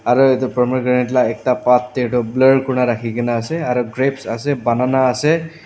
aru edu pomegranate la ekta part tae toh blur kurina rakhikae na ase aro grapes ase banana ase.